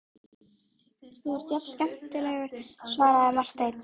Þú ert alltaf jafn skemmtilegur, svaraði Marteinn.